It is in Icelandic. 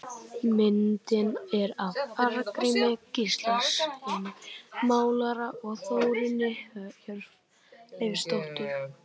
Myndin er af Arngrími Gíslasyni málara og Þórunni Hjörleifsdóttur.